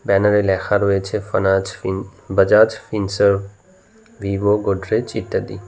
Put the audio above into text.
ব্যানারে লেখা রয়েছে ফানাজ ফিন বাজাজ ফিনসার্ভ ভিভো গড্রেজ ইত্যাদি।